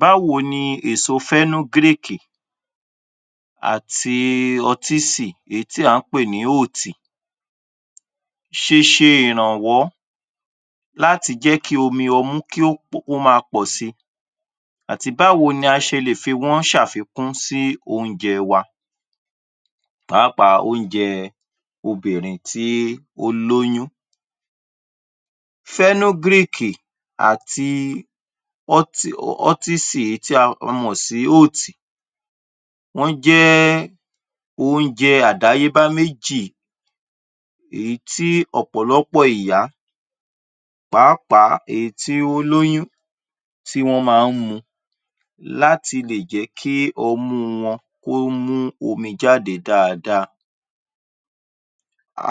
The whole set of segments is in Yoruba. Báwo ni èso fẹ́nógrèkì àti ọtísì, èí tí à ń pè ní óótì ṣeṣe ìrànwọ́ láti jẹ́ kí omi ọmú kí ó pọ̀...kí ó máa pọ̀ sí àti báwo ni a ṣe lè fi wọ́n ṣàfikún sí oúnjẹ wa, pàápàá oúnjẹ obìnrin tí ó lóyún? fẹ́nógrèkì àti ọ́tì...ọtísì èí tí a mọ̀ sí óótì wọ́n jẹ́ oúnjẹ àdáyébá méjì èyí tí ọ̀pọ̀lọ́pọ̀ ìyá, pàápàá èí tí ó lóyún, tí wọ́n máa ń mu láti lè jẹ́ kí ọmú wọn kó mú omi jáde dáadáa.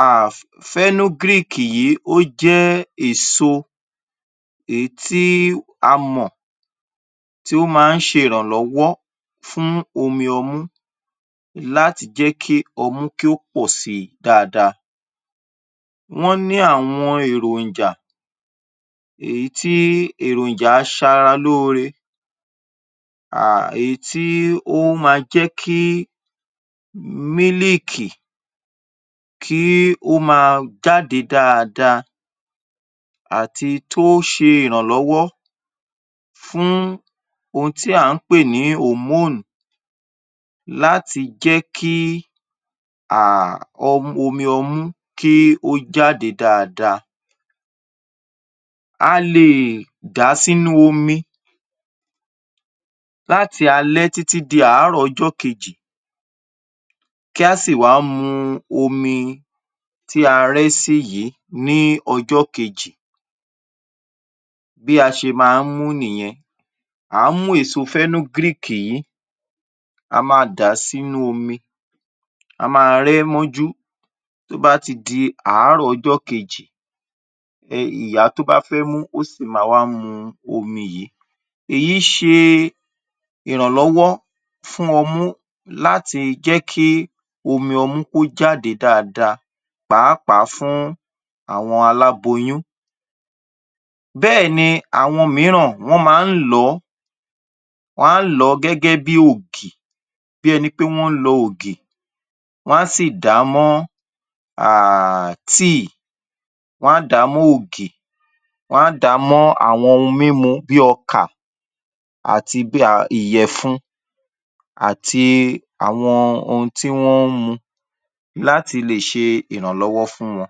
um fẹ́nógrèkì yìí ó jẹ́ èso èí tí a mọ̀ tí ó má ń ṣe ìrànlọ́wọ́ fún omi ọmú láti jẹ́ kí ọmú kí ó pọ̀ sí dáadáa. Wọ́n ní àwọn èròǹjà èyí tí èròǹjà aṣaralóore um èyí tí ó má jẹ́ kí mílìkì kí ó máa jáde dáadáa, àti tó ṣe ìrànlọ́wọ́ fún ohun tí à ń pè ní hòmóùn láti jẹ́ kí [um]...ọm...omi ọmú kí ó jáde dáadáa. A lè dà á sínú omi láti alẹ́ títí di àárọ̀ ọjọ́ kejì, kí á sì wá mú omi tí a rẹ́ ẹ́ sí yìí ní ọjọ́ kejì. Bí a ṣe má ń mú ún nìyẹn. À á mú èso fẹ́nógrèkì yìí, a máa dà á sínú omi. A máa rẹ́ ẹ́ mọ́jú. Tó bá ti di àárọ̀ ọjọ́ kejì um ìyá tó bá fẹ́ mú, kó sì wá má mu omi yìí. Èyí ṣe ìrànlọ́wọ́ fún ọmú láti jẹ́ kí omi ọmú kó jáde dáadáa, pàápàá fún àwọn aláboyún. Bẹ́ẹ̀ni àwọn mìíràn wọ́n máa ń lọ̀ ọ́, wọ́n á lọ̀ ọ́ gẹ́gẹ́ bí ògì, bí ẹni pé wọ́n lọ ògì. Wọ́n á sì dà á mọ́ um tíì, wọ́n á dà á mọ́ ògì, wọ́n á dà á mọ́ àwọn ohun mímu bí ọkà àti bí um ìyẹ̀fun àti àwọn ohun tí wọ́n ń mu láti lè ṣe ìrànlọ́wọ́ fún wọn.